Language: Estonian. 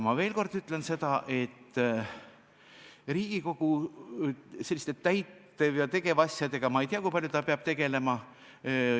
Ma veel kord ütlen, et ma ei tea, kui palju peab Riigikogu selliste täitev- ja tegevasjadega tegelema.